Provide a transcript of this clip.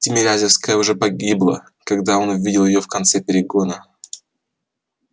тимирязевская уже гибла когда он увидел её в конце перегона